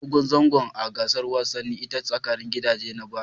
Ba a hada Gudun dogon zango a gasar wasanni ta tsakanin gidaje na bana